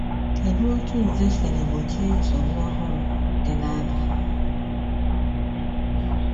Kedu otú Nze siri gbochie nsogbu ọhụrụ dị na Abịa?